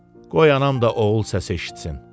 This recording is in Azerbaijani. Qoy anam da oğul səsi eşitsin.